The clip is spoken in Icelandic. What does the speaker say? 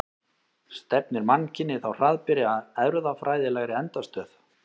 Stefnir mannkynið þá hraðbyri að erfðafræðilegri endastöð?